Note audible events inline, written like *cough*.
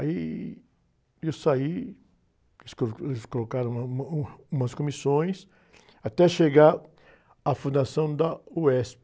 Aí eu saí, eles, *unintelligible* eles colocaram uma, uma, umas comissões, até chegar a fundação da uéspi.